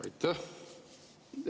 Aitäh!